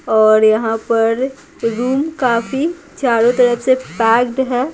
और यहाँ पर रूम काफी चारों तरफ से पैक्ड है।